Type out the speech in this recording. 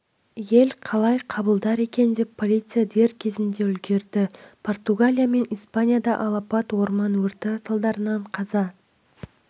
ел қалай қабылдар екен полиция дер кезінде үлгерді португалия мен испанияда алапат орман өрті салдарынан қаза